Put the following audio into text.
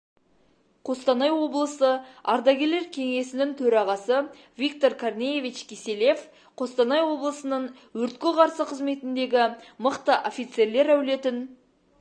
қостанай облысы ардагерлер кеңесінің төрағасы виктор корнеевич киселев қостанай облысының өртке қарсы қызметіндегі мықты офицерлер әулетін